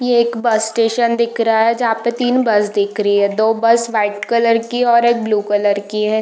ये एक bus station दिख रहा है जहाँ पे तीन बस दिख रही हैं दो बस वाइट कलर की और एक ब्लू कलर की है |